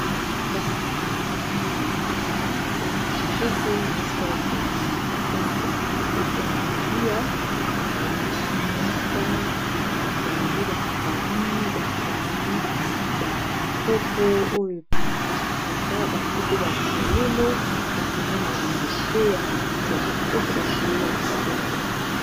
Kasi boye ezali na esika moko ya kitoko, eza esika bato babimaka mpo na komela pe mpo na kolia. Babongisi mesa batandi ba saani batandi bakopo oyo epasukaka, batie pe bafololo, kasi eza na ba nzete na matiti ya kitoko, na bafololo ya kitoko.